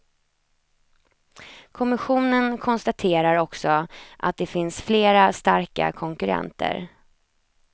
Kommissionen konstaterar också att det finns flera starka konkurrenter.